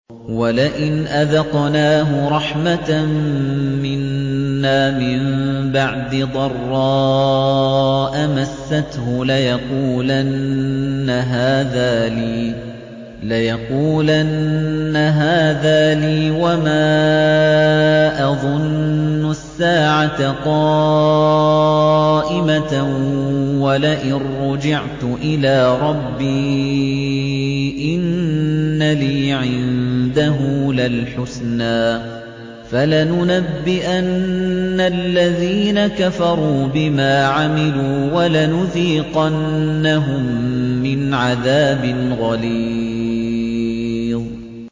وَلَئِنْ أَذَقْنَاهُ رَحْمَةً مِّنَّا مِن بَعْدِ ضَرَّاءَ مَسَّتْهُ لَيَقُولَنَّ هَٰذَا لِي وَمَا أَظُنُّ السَّاعَةَ قَائِمَةً وَلَئِن رُّجِعْتُ إِلَىٰ رَبِّي إِنَّ لِي عِندَهُ لَلْحُسْنَىٰ ۚ فَلَنُنَبِّئَنَّ الَّذِينَ كَفَرُوا بِمَا عَمِلُوا وَلَنُذِيقَنَّهُم مِّنْ عَذَابٍ غَلِيظٍ